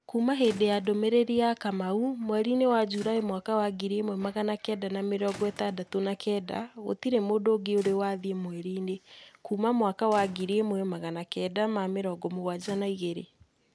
Kuuma hĩndĩ ya ndũmĩrĩri ya Kamau mweri-inĩ wa Julaĩ mwaka wa ngiri ĩmwe magana kenda ma mĩrongo itandatũ na kenda, gũtirĩ mũndũ ũngĩ ũrĩ wathiĩ mweri-inĩ kuuma mwaka wa ngiri ĩmwe magana kenda ma mirongo mugwanja na ĩgirĩ.